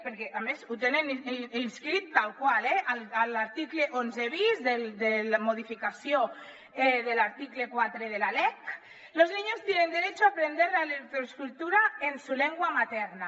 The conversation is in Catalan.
perquè a més ho tenen escrit tal qual eh en l’article onze bis de modificació de l’article quatre de la lec los niños tienen derecho a aprender la lectoescritura en su lengua materna